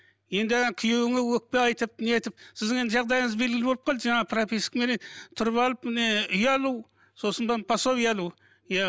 енді күйеуіңе өкпе айтып нетіп сіздің енді жағдайыңыз белгілі болып қалды жаңа пропискаменен тұрып алып міне үй алу сосын пособие алу иә